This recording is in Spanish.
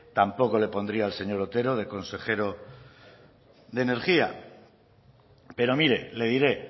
tampoco le pondría al señor otero de consejero de energía pero mire le diré